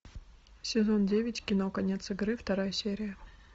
сезон девять кино конец игры вторая серия